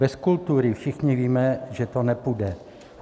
Bez kultury všichni víme, že to nepůjde.